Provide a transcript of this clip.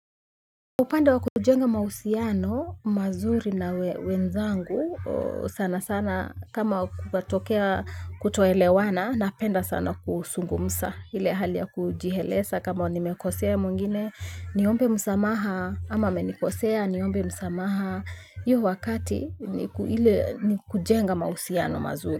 Upande wakujenga mahusiano, mazuri na wenzangu sana sana kama kukatokea kutoelewana napenda sana kuzungumza ile hali ya kujieleza kama nimekosea mwingine niombe musamaha kama amenikosea niombe musamaha hiyo wakati ni kujenga mahusiano mazuri.